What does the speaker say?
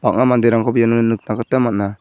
bang·a manderangkoba iano nikna gita man·a.